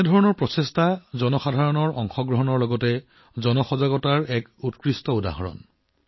এনে প্ৰচেষ্টা জনসাধাৰণৰ অংশগ্ৰহণৰ লগতে জনসচেতনতাৰ মহান উদাহৰণ